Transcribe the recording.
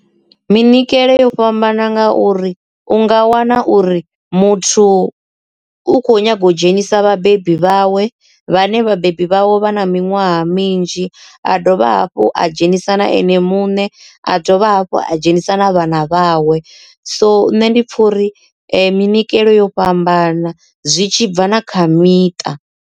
Munikelo yo fhambana nga uri u nga wana uri muthu u khou nyaga u dzhenisa vhabebi vhawe vhane vhabebi vhawe vha na miṅwaha minzhi a dovha hafhu a dzhenisa na ene muṋe a dovha hafhu a dzhenisa na vhana vhawe so nṋe ndi khori minyikelo yo fhambana zwi tshi bva na kha miṱa.